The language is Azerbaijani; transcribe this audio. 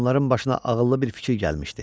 Onların başına ağıllı bir fikir gəlmişdi.